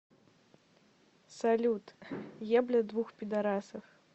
салют ебля двух пидарасов